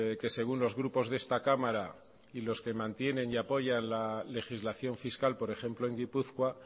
que según los grupos de esta cámara y los que mantienen y apoyan la legislación fiscal por ejemplo en gipuzkoa